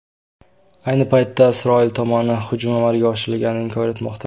Ayni paytda, Isroil tomoni hujum amalga oshirilganini inkor etmoqda.